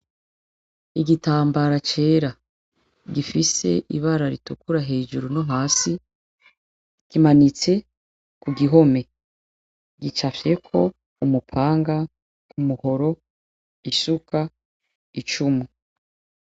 Igitambara cera gifise ibara ritukura hejuru no hasi ,kimanitse kugihome gicafyeko umupanga, umuhoro, isuka, icumu.